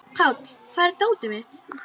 Páll, hvar er dótið mitt?